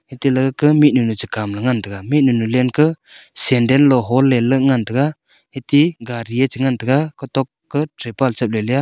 eteleke mihnu nu Chu kamlele ngan taiga mihnu nu lendka sendle lo hollele ngan taiga ati gadi e chingan taiga kotok ke tripal e chaip leleya.